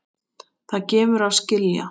Það gefur að skilja.